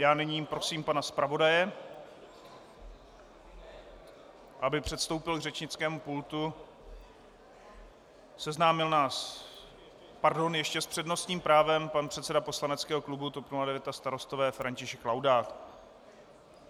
Já nyní prosím pana zpravodaje, aby předstoupil k řečnickému pultu, seznámil nás - pardon, ještě s přednostním právem pan předseda poslaneckého klubu TOP 09 a Starostové František Laudát.